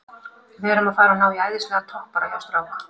Við erum að fara að ná í æðislegan toppara hjá strák